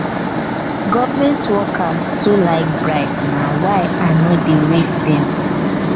government workers too like bribe na why i no dey rate dey rate dem.